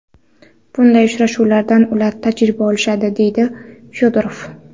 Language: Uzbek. Bunday uchrashuvlardan ular tajriba olishadi”, deydi Fyodorov.